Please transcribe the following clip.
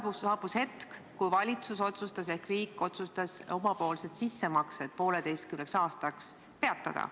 Siis saabus hetk, kui valitsus ehk riik otsustas omapoolsed sissemaksed teatud ajaks peatada.